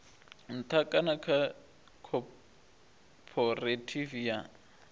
nṱha kana kha khophorethivi ya